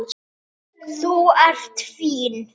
Þú ert fín.